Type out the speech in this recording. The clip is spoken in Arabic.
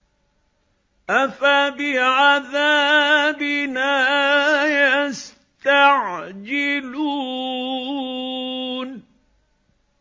أَفَبِعَذَابِنَا يَسْتَعْجِلُونَ